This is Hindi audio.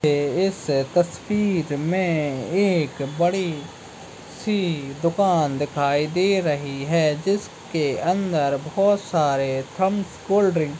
ए इस तस्वीर में एक बड़ी सी दुकान दिखाई दे रही है जिसके अंदर बहोत सारे थंप कोल्ड ड्रिंक --